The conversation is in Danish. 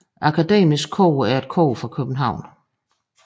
Akademisk Kor er et kor fra København